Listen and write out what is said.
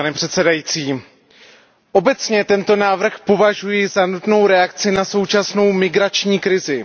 Pane předsedající, obecně tento návrh považuji za nutnou reakci na současnou migrační krizi.